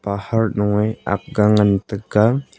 pahart nu wai agge ngan tega.